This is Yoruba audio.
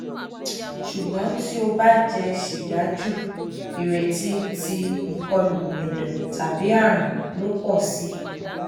ṣugbọn ti o ba jẹ siga ju ireti ti ikolu ẹdọ tabi aarun lọ pọ si